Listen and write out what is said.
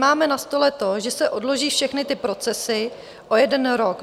Máme na stole to, že se odloží všechny ty procesy o jeden rok.